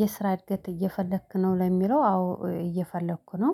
የስራ እድገት እየፈለክ ነው ለሚለው አዎ እየፈለኩ ነው